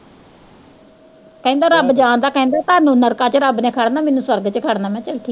ਕਹਿੰਦਾ ਰੱਬ ਜਾਣਦਾ ਕਹਿੰਦਾ ਤੁਹਾਨੂੰ ਨਰਕਾਂ ਚ ਰੱਬ ਨੇੇ ਖੜਨਾ ਮੈਨੂੰ ਸਰਦ ਚ ਖੜਨਾ ਮੈਂ ਕਿਹਾ ਚੱਲ ਠੀਕ।